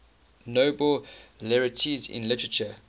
nobel laureates in literature